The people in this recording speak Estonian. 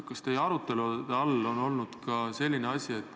Aga kas teie arutelude all on olnud ka selline küsimus?